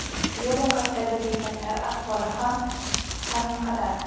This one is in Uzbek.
Yo‘l yoqasidagi bekatlar ahvoli ham haminqadar.